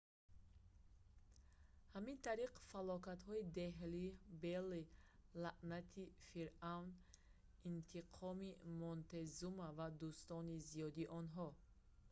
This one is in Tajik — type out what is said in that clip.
ҳамин тариқ фалокатҳои деҳлӣ белли лаънати фиръавн интиқоми монтезума ва дӯстони зиёди онҳо